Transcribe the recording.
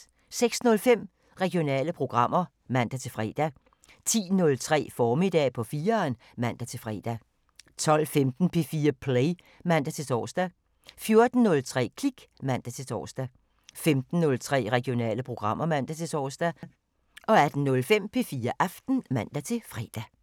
06:05: Regionale programmer (man-fre) 10:03: Formiddag på 4'eren (man-fre) 12:15: P4 Play (man-tor) 14:03: Klik (man-tor) 15:03: Regionale programmer (man-tor) 18:05: P4 Aften (man-fre)